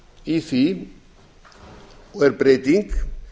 í því og er breyting